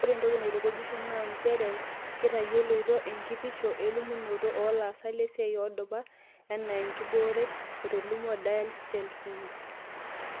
Oree entoki natukujisho naa njere kitayoloito enkitisho elimunoto oo laasak lesiai oodupa enaa enkibooret," etolimuo Diale-Schellschmidt.